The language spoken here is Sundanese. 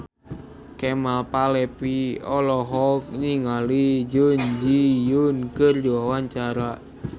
Kemal Palevi olohok ningali Jun Ji Hyun keur diwawancara